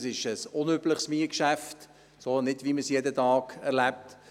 Es ist ein unübliches Mietgeschäft, nicht so wie man es jeden Tag erlebt.